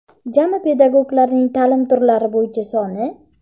Jami pedagoglarning taʼlim turlari bo‘yicha soni:.